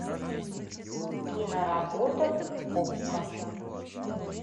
киноработа окко